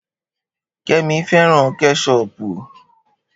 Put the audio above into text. Kemi fẹ́ràn Kẹ́ṣọpù